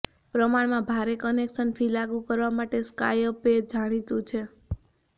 પ્રમાણમાં ભારે connection fee લાગુ કરવા માટે સ્કાયપે જાણીતું છે